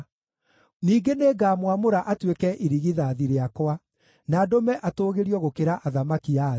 Ningĩ nĩngamwamũra atuĩke irigithathi rĩakwa, na ndũme atũũgĩrio gũkĩra athamaki a thĩ.